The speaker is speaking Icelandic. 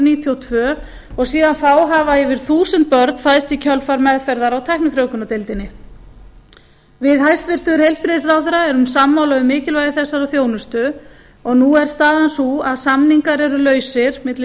og tvö og síðan þá hafa yfir þúsund börn fæðst í kjölfar meðferðar á tæknifrjóvgunardeildinni við hæstvirtan heilbrigðisráðherra eru sammála um mikilvægi þessarar þjónustu og nú er staðan sú að samningar eru lausir milli